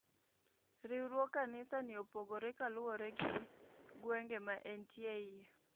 Riwruog kanisa ni opogore kaluure gi gwenge ma entie iye.